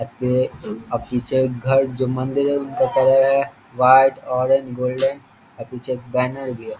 आगे अ पिछे घर जो मंदिर है उनका कलर है व्हाइट ऑरेंज गोल्डन अ पिछे एक बैनर भी है।